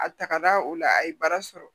A tagara o la a ye baara sɔrɔ